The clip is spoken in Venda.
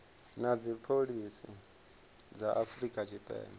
na dzipholisi dza afrika tshipembe